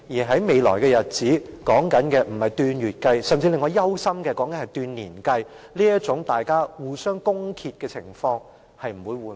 在未來的日子裏，可能是以令我憂心的年而不是以月計算，這種議員互相攻擊的情況也不會得到緩和。